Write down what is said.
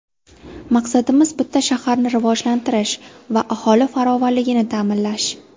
Maqsadimiz bitta shaharni rivojlantirish va aholi farovonligini ta’minlash.